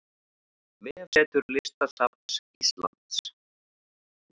Vefsetur Listasafns Íslands